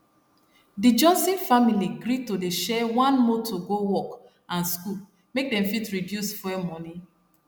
d johnson family gree to dey share one motor go work and school make dem fit reduce fuel money